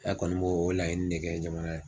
kɔni bo o laɲini ne kɛ jamana